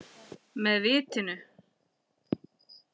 Með vitinu.